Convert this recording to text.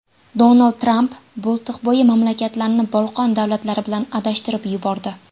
Donald Tramp Boltiqbo‘yi mamlakatlarni Bolqon davlatlari bilan adashtirib yubordi.